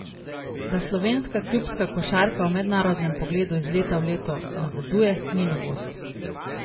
D a slovenska klubska košarka v mednarodnem pogledu iz leta v leto nazaduje, ni novost.